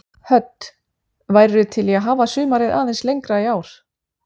Hödd: Værirðu til í að hafa sumarið aðeins lengra í ár?